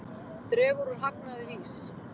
Dregur úr hagnaði VÍS